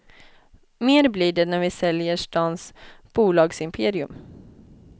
Mer blir det när vi säljer stans bolagsimperium.